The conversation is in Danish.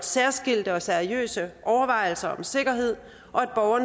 særskilte og seriøse overvejelser om sikkerhed og at